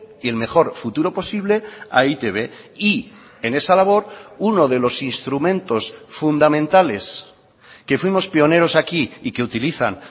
y el mejor futuro posible a e i te be y en esa labor uno de los instrumentos fundamentales que fuimos pioneros aquí y que utilizan